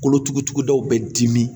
Kolotugudaw bɛ dimi